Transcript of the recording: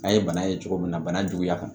An ye bana ye cogo min na bana juguya kan